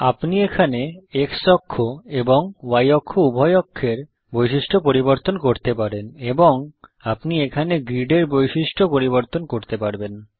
আপনি এখানে X অক্ষ এবং Y অক্ষ উভয় অক্ষের বৈশিষ্ট্য পরিবর্তন করতে পারেন এবং আপনি এখানে গ্রিডের বৈশিষ্ট্য পরিবর্তন করতে পারবেন